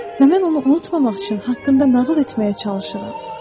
Və mən onu unutmamaq üçün haqqında nağıl etməyə çalışıram.